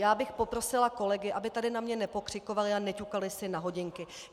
Já bych poprosila kolegy, aby tady na mě nepokřikovali a neťukali si na hodinky.